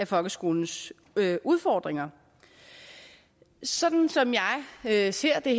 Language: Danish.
folkeskolens udfordringer sådan som jeg ser det